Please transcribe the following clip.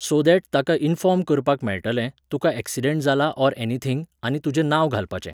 So that ताका inform करपाक मेळटलें, तुका एक्सिडेंट जाला ऑर एनीथिंग, आनी तुजें नांव घालपाचें.